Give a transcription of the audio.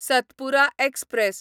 Satpura express